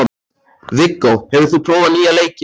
Viggó, hefur þú prófað nýja leikinn?